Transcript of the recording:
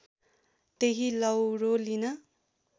त्यही लौरो लिन